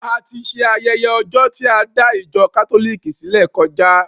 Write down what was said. A ti ṣe ayẹyẹ ọjọ tí a dá ìjọ kátólìkì sílẹ kọjá.